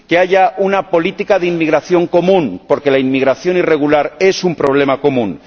que haya una política de inmigración común, porque la inmigración irregular es un problema común